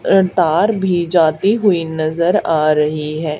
Car भी जाती हुई नजर आ रही है।